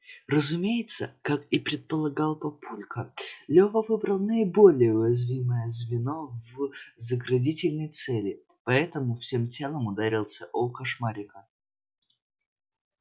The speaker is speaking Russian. разумеется как и предполагал папулька лева выбрал наиболее уязвимое звено в заградительной цели поэтому всем телом ударился о кошмарика